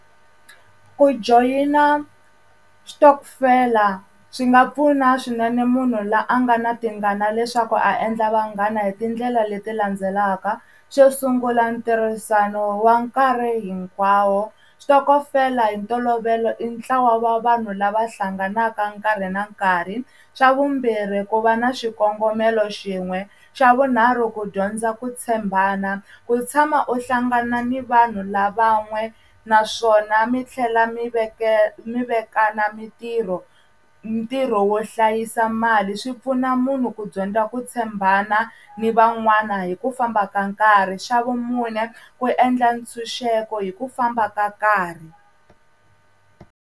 Ku joyina switokofela swi nga pfuna swinene munhu la a nga na tingana leswaku a endla vanghana hi tindlela leti landzelaka xo sungula ntirhisano wa nkarhi hinkwawo xitokofela hi ntolovelo i ntlawa va vanhu lava hlanganaka nkarhi na nkarhi, xa vumbirhi ku va na swikongomelo xin'we, xa vunharhu ku dyondza ku tshembana ku tshama u hlangana ni vanhu lava n'we naswona mi tlhela mi mi vekana mintirho ntirho wo hlayisa mali swi pfuna munhu ku dyondza ku tshembana ni van'wana hi ku famba ka nkarhi, xa vumune ku endla ntshunxeko hi ku famba ka nkarhi.